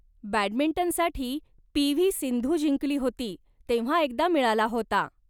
बॅडमिंटनसाठी P. V. Sindhu जिंकली होती तेव्हा एकदा मिळाला होता.